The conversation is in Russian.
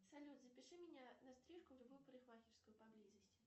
салют запиши меня на стрижку в любую парикмахерскую поблизости